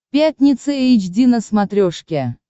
пятница эйч ди на смотрешке